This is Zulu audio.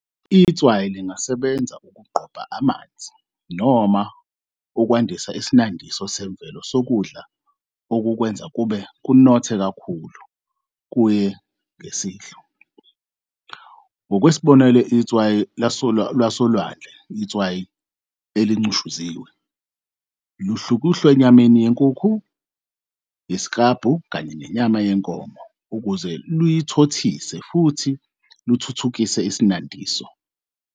Itswayi lingasebenza ukugqoba amanzi, noma ukwandisa isinandiso semvelo sokudla okukwenza kube kunothe kakhulu, kuye ngesidlo. Ngokwesibonelo, itswayi lwasolwandle, itswayi elincushuziwe, luhlukuhlwa enyameni yenkukhu, yesiklabhu, kanye nenyama yenkomo ukuze luyuthothise futhi luthuthukise isinandiso.